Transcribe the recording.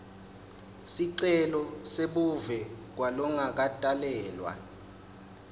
sicelo sebuve kwalongakatalelwa